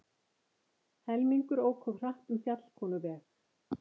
Helmingur ók of hratt um Fjallkonuveg